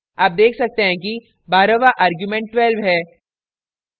आप देख सकते हैं कि बरहवाँ argument 12 है